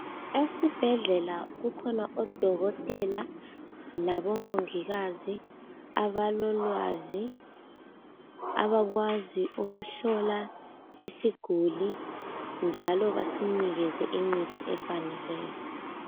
Esibhedlela kukhona odokotela labomongikazi abalolwazi abakwazi ukuhlola isiguli njalo basinikeze imithi efaneleyo.